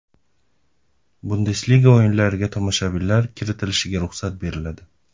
Bundesliga o‘yinlariga tomoshabinlar kiritilishiga ruxsat beriladi.